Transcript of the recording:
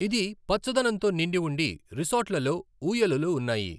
ఇది పచ్చదనంతో నిండి ఉండి, రిసార్ట్లలో ఊయలలు ఉన్నాయి.